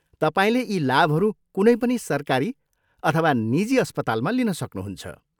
तपाईँले यी लाभहरू कुनै पनि सरकारी अथवा निजी अस्पतालमा लिन सक्नुहुन्छ।